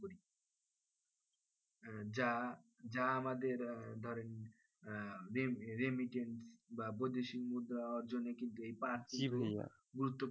হ্যাঁ যা আমাদের ধরেন আহ remittent বা বৈদেশিক মুদ্রা অর্জনে কিন্তু এই পাট গুরুত্বপূর্ণ